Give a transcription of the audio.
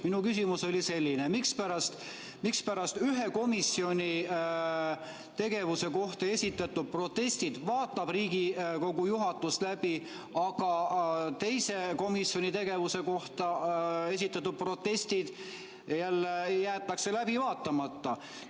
Minu küsimus oli selline: mispärast ühe komisjoni tegevuse kohta esitatud protestid vaatab Riigikogu juhatus läbi, aga teise komisjoni tegevuse kohta esitatud protestid jälle jäetakse läbi vaatamata?